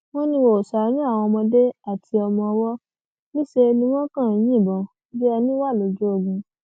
ó ní wọn ò ṣàánú àwọn ọmọdé àti ọmọọwọ níṣẹ ni wọn kàn ń yìnbọn bíi ẹni wa lójú ogun